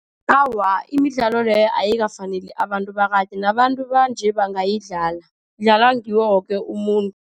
Awa, imidlalo leyo ayikafaneli abantu bakade. Nabantu banje bangayidlala, idlalwa ngiwo woke umuntu.